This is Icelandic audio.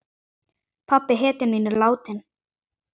Pabbi, hetjan mín, er látinn.